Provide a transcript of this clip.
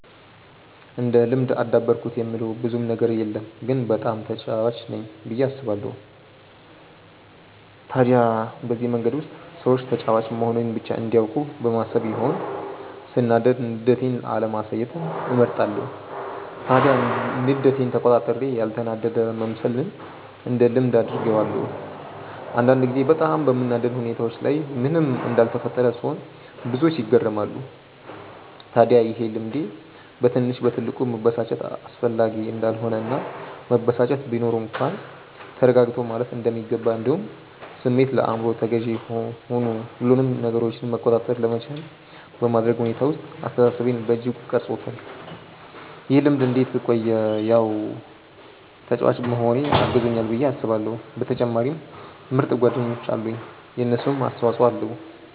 እንደ ልምድ አዳበርኩት የምለው ብዙም ነገር የለም ግን በጣም ተጫዋች ነኝ ብዬ አስባለው። ታዲያ በዚህ መንገድ ውስጥ ሰዎች ተጫዋች መሆኔን ብቻ እንዲያውቁ በማሰብ ይሆን ሰናዳድ ንዴቴን አለማሳየትን እመርጣለው። ታዲያ ንዴቴን ተቆጣጥሬ ያልተናደደ መምሰልን እንደ ልምድ አድርጌዋለው። አንዳንድ ጊዜ በጣም በሚያናድድ ሁኔታዎች ላይ ምንም እንዳልተፈጠረ ስሆን ብዙዎች ይገረማሉ። ታድያ ይሄ ልምዴ በትንሽ በትልቁ መበሳጨት አስፈላጊ እንዳልሆነ እና መበሳጨት ቢኖር እንኳን ተረጋግቶ ማለፍ እንደሚገባ እንዲሁም ስሜት ለአይምሮ ተገዢ ሆኑ ሁሉንም ነገራችንን መቆጣጠር ለመቻል በማድረግ ሁኔታ ውስጥ አስተሳሰቤን በእጅጉ ቀርፆታል። ይህ ልምድ እንዴት ቆየ ያው ተጫዋች መሆኔ አግዞኛል ብዬ አስባለው በተጨማሪም ምርጥ ጓደኞች አሉኝ የነሱም አስተፆይ ኣለዉ።